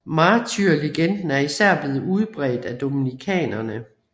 Martyrlegenden er især blevet udbredt af dominikanerne